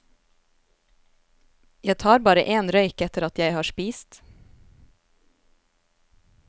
Jeg tar bare en røyk etter at jeg har spist.